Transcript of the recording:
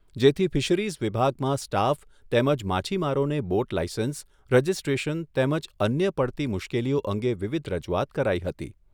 જેથી ફિશરીઝ વિભાગમાં સ્ટાફ તેમજ માછીમારોને બોટ લાયસન્સ, રજીસ્ટ્રેશન તેમજ અન્ય પડતી મુશ્કેલીઓ અંગે વિવિધ રજૂઆત કરાઈ હતી.